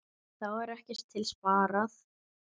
Þá var ekkert til sparað.